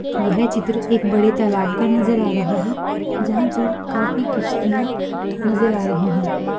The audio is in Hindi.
यह चित्र एक बड़े तालाब का नजर आ रहा हैजहां पर किस्तियां नजर आ रही हैं।